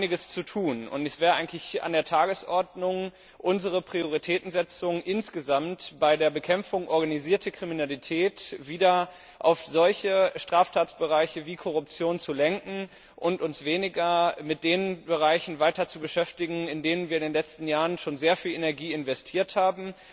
Hier ist noch einiges zu tun, und es wäre eigentlich an der Tagesordnung, unsere Prioritätensetzung insgesamt bei der Bekämpfung organisierter Kriminalität wieder auf solche Straftatsbereiche wie Korruption zu lenken und uns weniger mit den Bereichen weiter zu beschäftigen, in die wir schon in den letzten Jahren sehr viel Energie investiert haben.